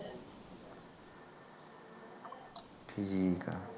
ਠੀਕ ਆ